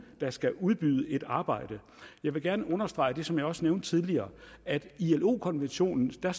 der skal udbyde et arbejde jeg vil gerne understrege det som jeg også nævnte tidligere at i ilo konventionen står